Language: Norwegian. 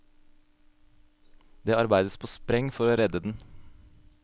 Det arbeides på spreng for å redde den.